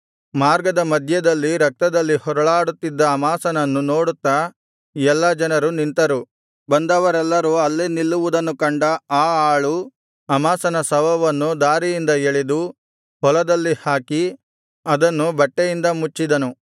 ಮಾರ್ಗದ ಮಧ್ಯದಲ್ಲಿ ರಕ್ತದಲ್ಲಿ ಹೊರಳಾಡುತ್ತಿದ್ದ ಅಮಾಸನನ್ನು ನೋಡುತ್ತಾ ಎಲ್ಲಾ ಜನರು ನಿಂತರು ಬಂದವರೆಲ್ಲರೂ ಅಲ್ಲೇ ನಿಲ್ಲುವುದನ್ನು ಕಂಡ ಆ ಆಳು ಅಮಾಸನ ಶವವನ್ನು ದಾರಿಯಿಂದ ಎಳೆದು ಹೊಲದಲ್ಲಿ ಹಾಕಿ ಅದನ್ನು ಬಟ್ಟೆಯಿಂದ ಮುಚ್ಚಿದನು